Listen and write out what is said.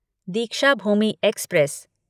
Deekshabhoomi express